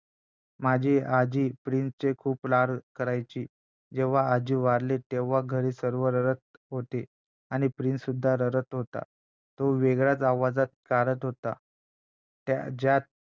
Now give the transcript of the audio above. माझी आजी प्रिन्सचे खूप लाड करायची जेव्हा आजी वारली तेव्हा घरी सर्व रडत होते आणि प्रिन्ससुद्धा रडत होता तो वेगळाचं आवाज काढत होता ज्यात